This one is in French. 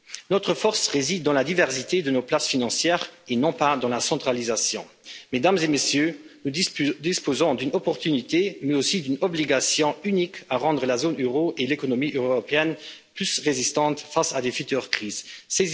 Notre force réside dans la diversité de nos places financières et non pas dans la centralisation. Mesdames et Messieurs, nous disposons d'une opportunité mais aussi d'une obligation unique à rendre la zone euro et l'économie de l'Union européenne plus résistantes face à des crises futures.